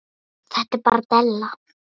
Þetta er bara della.